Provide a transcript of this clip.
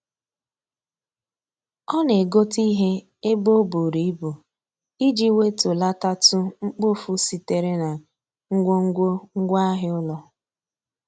Ọ na-egote ihe ebe o buru ibu iji wetulatatụ mkpofu sitere na ngwongwo ngwaahịa ụlọ.